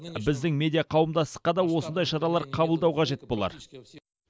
біздің медиа қауымдастыққа да осындай шаралар қабылдау қажет болар